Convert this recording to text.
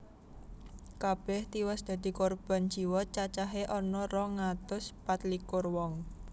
Kabèh tiwas dadi korban jiwa cacahé ana rong atus pat likur wong